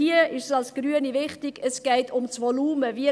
Hier ist es uns als Grüne wichtig, dass es um das Volumen geht: